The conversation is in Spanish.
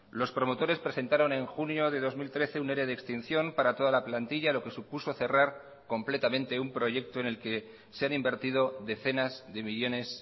los promotores presentaron en junio de dos mil trece un ere de extinción para toda la plantilla lo que supuso cerrar completamente un proyecto en el que se han invertido decenas de millónes